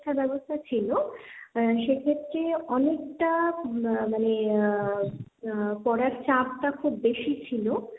শিক্ষাব্যবস্থা ছিল, আহ সেক্ষেত্রে অনেকটা আহ মানে আহ পড়ার চাপটা খুব বেশি ছিল,